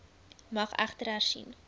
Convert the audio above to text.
mag egter hersien